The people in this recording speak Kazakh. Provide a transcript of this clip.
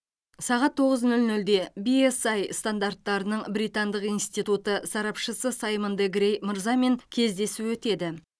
сағат тоғыз нөл нөлде биэсай стандарттарының британдық институты сарапшысы саймон де грей мырзамен кездесу өтеді